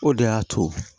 O de y'a to